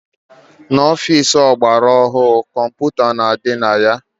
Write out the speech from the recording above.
N'ọfici ọgbara ọhụrụ, kọmputa na-adị na ya.